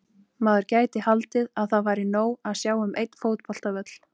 Maður gæti haldið að það væri nóg að sjá um einn fótboltavöll.